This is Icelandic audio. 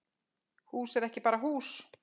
Hús er ekki bara hús